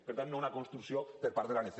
per tant no és una construcció per part de l’anc